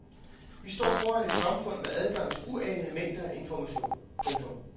Vi står foran et samfund med adgang til uanede mængder af information. punktum